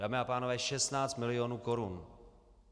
Dámy a pánové, 16 milionů korun!